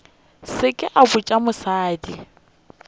se ke a botša mosadi